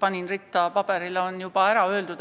paberile ritta panin, on juba ära öeldud.